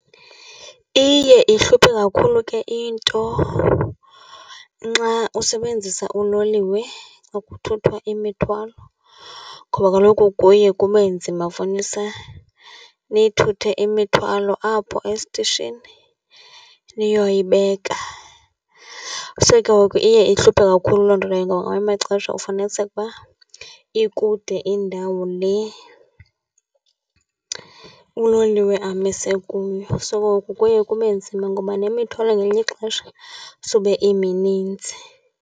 Iye ihluphe kakhulu ke into nxa usebenzisa uloliwe ukuthuthwa imithwalo, ngoba kaloku kuye kube nzima ifunisa niyithuthe imithwalo apho esitishini niyoyibeka. So, ke ngoku iye ihluphe kakhulu loo nto leyo ngoba ngamanye amaxesha ufuniseka uba ikude indawo le uloliwe amise kuyo. So, ke ngoku kuye kube nzima ngoba nemithwalo ngelinye ixesha sube imininzi.